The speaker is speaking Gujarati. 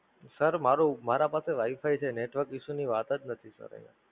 Sir, મારો મારા પાસે Wi-Fi છે, Network issues ની વાત જ નથી.